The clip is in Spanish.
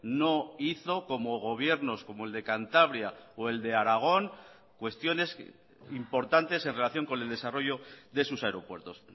no hizo como gobiernos como el de cantabria o el de aragón cuestiones importantes en relación con el desarrollo de sus aeropuertos